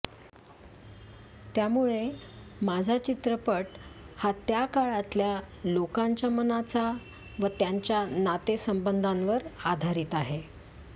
त्यामुळे माझा चित्रपट हा त्या काळातल्या लोकांच्या मनाचा व त्यांच्या नातेसंबंधांवर आधारित आहे